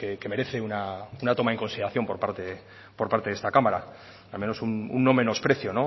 que merece una toma en consideración por parte de esta cámara al menos un no menosprecio